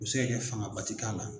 Be se ka kɛ fangaba te k'a la